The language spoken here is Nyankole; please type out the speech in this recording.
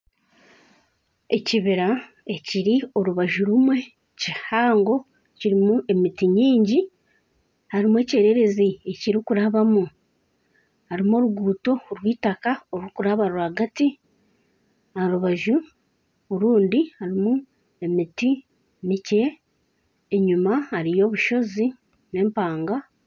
Ekibira ekiri orubaju rumwe kihango kirimu emiti mwingi harimu ekyererezi ekiri kurabamu. Harimu oruguuto rwitaka oruri kuraba rwagati. Aha rubaju orundi harimu emiti mikye enyima hariyo obushozi n'empanga.